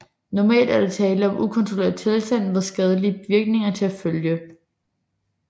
Normalt er der tale om en ukontrolleret tilstand med skadelige virkninger til følge